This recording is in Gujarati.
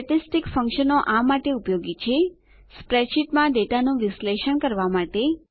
સ્ટેટીસ્ટીક ફંકશનો આ માટે ઉપયોગી છે સ્પ્રેડશીટમાં ડેટાનું વિશ્લેષણ કરવા માટે